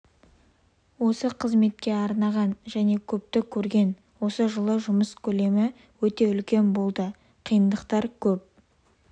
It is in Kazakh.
осы қызметке арнаған және көпті көрген осы жылы жұмыс көлемі өте үлкен болды қиындықтар көп